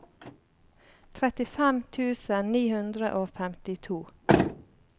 trettifem tusen ni hundre og femtito